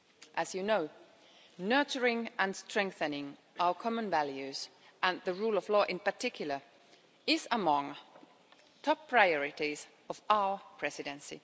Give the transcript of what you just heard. As you know, nurturing and strengthening our common values, and the rule of law in particular, is among the top priorities of our Presidency.